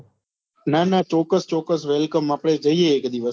ના ના ચોક્કસ ચોક્કસ welcome આપડે જઈએ એક દિવસ